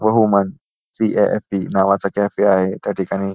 व human C A F E. नावाचा cafe आहे त्या ठिकाणी.